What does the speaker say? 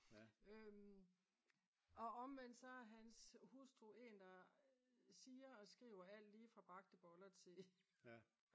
og omvendt så er hans hustru en der siger og skriver alt lige fra bagte boller til